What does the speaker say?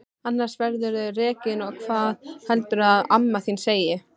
Annars verðurðu rekinn og hvað heldurðu að amma þín segi!